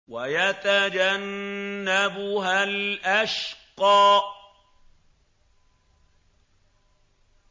وَيَتَجَنَّبُهَا الْأَشْقَى